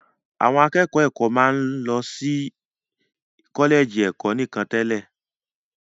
Àwọn akẹ́kọ̀ọ́ ẹ̀kọ́ máa ń lọ sí kọ́lẹ̀jì ẹ̀kọ́ nìkan tẹ́lẹ̀